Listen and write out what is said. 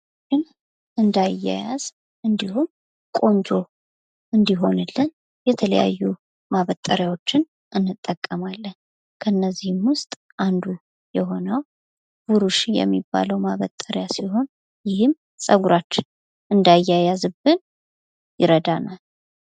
ጸጉራችን እንዳያያዝ እንድሁም ቆንጆ እንድሆንልን የተለያዩ ማበጠሪያዎችን እንጠቀማለን ከነዚህም ውስጥ አንዱ የሆነው ብሩሽ የሚባለው ማበጠሪያ ሲሆን ይህም ጸጉራችን እንዳያያዝብን ይረዳናል።